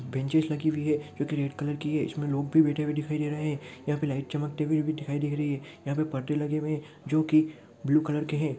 Benches लगी हुई है जो की रेड कलर की है इसमें लोग भी बैठे हुए दिखाई दे रहे है यहाँ पे लाइट चमकती हुई दिखाई दे रही है यहाँ पर परदे लगे हुए है जो की ब्लू कलर के है।